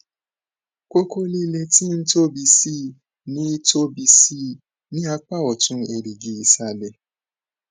koko lile ti n tobi sii ni tobi sii ni apa otun erigi isale